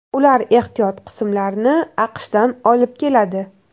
Ular ehtiyot qismlarini AQShdan olib keladi.